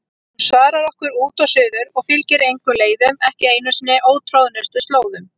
Hún svarar okkur út og suður og fylgir engum leiðum, ekki einu sinni ótroðnustu slóðum.